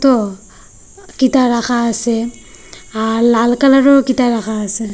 তো কিতা রাখা আসে আর লাল কালারেরও কিতা রাখা আসে।